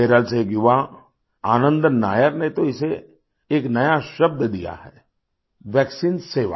केरल से एक युवा आनंदन नायर ने तो इसे एक नया शब्द दिया है वैक्सीन सेवा